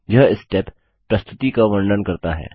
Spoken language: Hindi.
यह स्टेप प्रस्तुति का वर्णन करता है